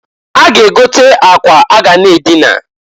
A ga -egote akwa a ga na adịna.